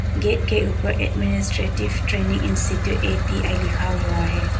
Gate के ऊपर administrative training institute ATI लिखा हुआ है।